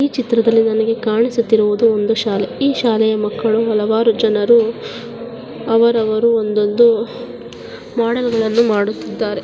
ಈ ಚಿತ್ರದಲ್ಲಿ ನನಗೆ ಕಾಣಿಸುತ್ತಿರುವುದು ಒಂದು ಶಾಲೆ ಈ ಶಾಲೆಯ ಮಕ್ಕಳು ಹಲವಾರು ಜನರು ಅವರವರು ಒಂದೊಂದೊಂದು ಮೊಡಲ್ಗಳನ್ನು ಮಾಡುತ್ತಿದ್ದಾರೆ.